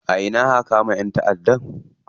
A ina aka kama ƴan taʼadda?